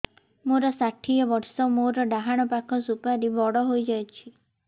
ମୋର ଷାଠିଏ ବର୍ଷ ମୋର ଡାହାଣ ପାଖ ସୁପାରୀ ବଡ ହୈ ଯାଇଛ